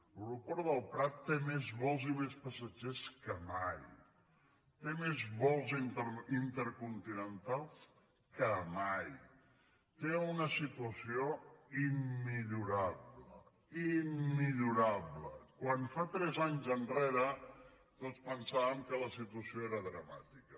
l’aeroport del prat té més vols i més passatgers que mai té més vols intercontinentals que mai té una situació immillorable immillorable quan fa tres anys enrere tots pensàvem que la situació era dramàtica